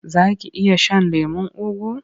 Za ki iya shan lemon ugu?